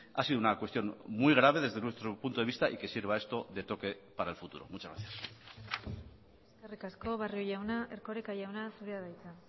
ha sido una cuestión muy grave desde nuestro punto de vista y que sirva esto de toque para el futuro muchas gracias eskerrik asko barrio jauna erkoreka jauna zurea da hitza